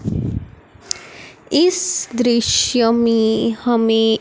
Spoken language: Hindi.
इस दृश्य में हमें--